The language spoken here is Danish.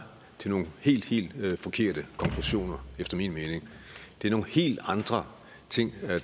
til nogle helt helt forkerte konklusioner det er nogle helt andre ting